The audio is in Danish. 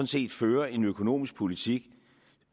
set fører en økonomisk politik